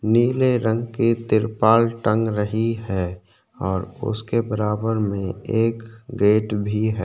नीले रंग की तिरपाल टंग रही है और उसके बराबर में एक गेट भी है।